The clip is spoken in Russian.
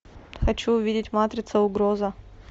хочу увидеть матрица угроза